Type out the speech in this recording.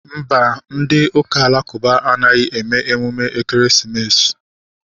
Mba, ndị ụka alakụba anaghị eme emume ekeresimesi